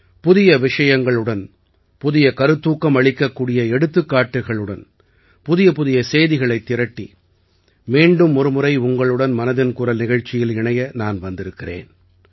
புதிய விஷயங்களுடன் புதிய கருத்தூக்கம் அளிக்கக்கூடிய எடுத்துக்காட்டுக்களுடன் புதிய புதிய செய்திகளைத் திரட்டி மீண்டும் ஒருமுறை உங்களுடன் மனதின் குரல் நிகழ்ச்சியில இணைய நான் வந்திருக்கிறேன்